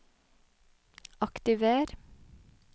aktiver